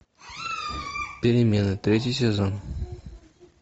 перемена третий сезон